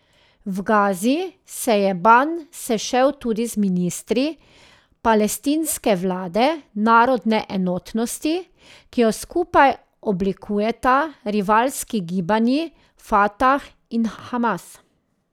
V Gazi se je Ban sešel tudi z ministri palestinske vlade narodne enotnosti, ki jo skupaj oblikujeta rivalski gibanji Fatah in Hamas.